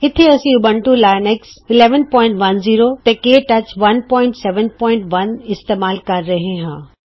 ਇਥੇ ਅਸੀਂ Ubuntu Linux 1110 ਤੇ ਕੇ ਟੱਚ 171 ਇਸਤੇਮਾਲ ਕਰ ਰਹੇ ਹਾਂ